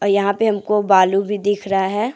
यहां पे हमको बालू भी दिख रहा है।